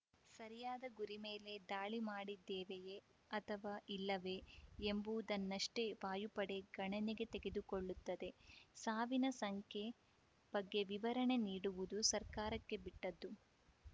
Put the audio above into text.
ಸರಿಯಾದ ಗುರಿ ಮೇಲೆ ದಾಳಿ ಮಾಡಿದ್ದೇವೆಯೇ ಅಥವಾ ಇಲ್ಲವೇ ಎಂಬುದನ್ನಷ್ಟೇ ವಾಯುಪಡೆ ಗಣನೆಗೆ ತೆಗೆದುಕೊಳ್ಳುತ್ತದೆ ಸಾವಿನ ಸಂಖ್ಯೆ ಬಗ್ಗೆ ವಿವರಣೆ ನೀಡುವುದು ಸರ್ಕಾರಕ್ಕೆ ಬಿಟ್ಟದ್ದು